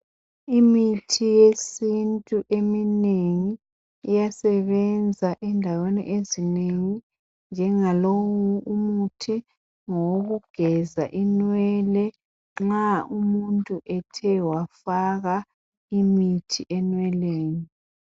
Imithi yesintu eminengi iyasebenza endaweni ezinengi njengalowu umuthi ngowokugeza inwele nxa umuntu ethe wafaka imithi enweleni.